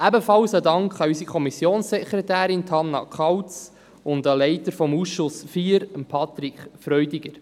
Ein Dank geht ebenfalls an unsere Kommissionssekretärin, Hannah Kauz, und an den Leiter des Ausschusses IV, Patrick Freudiger.